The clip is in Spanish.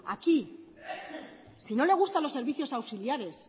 aquí si no le gustan los servicios auxiliares